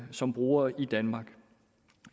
som brugere i danmark